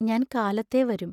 ഞാൻ കാലത്തെ വരും.